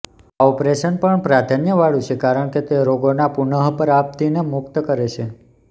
આ ઓપરેશન પણ પ્રાધાન્યવાળું છે કારણ કે તે રોગના પુનઃપ્રાપ્તિને મુક્ત કરે છે